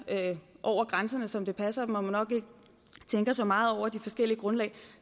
over grænserne som det passer dem og nok ikke tænker så meget over de forskellige grundlag